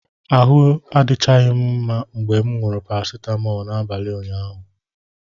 Ahụ adịchaghị m mma mgbe m ṅụsịrị paracetamol n'abalị ụnyaahụ.